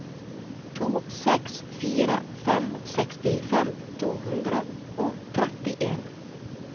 to seks fire fem sekstifem to hundre og trettien